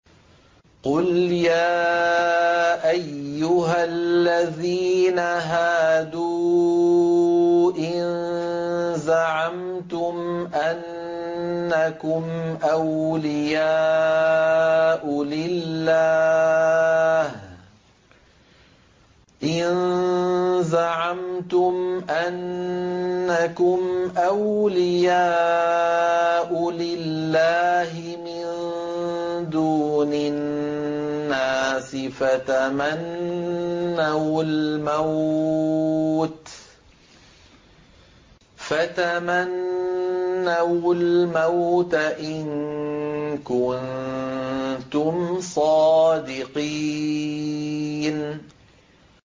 قُلْ يَا أَيُّهَا الَّذِينَ هَادُوا إِن زَعَمْتُمْ أَنَّكُمْ أَوْلِيَاءُ لِلَّهِ مِن دُونِ النَّاسِ فَتَمَنَّوُا الْمَوْتَ إِن كُنتُمْ صَادِقِينَ